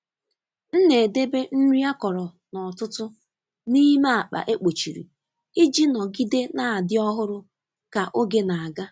M na-edebe nri akọrọ n’ọtụtù n’ime akpa e kpochiri iji nọgide na-adị ọhụrụ ka oge na-aga.